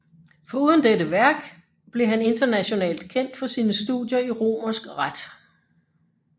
Foruden dette værk blev han internationalt kendt for sine studier i romersk ret